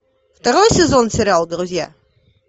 второй сезон сериал друзья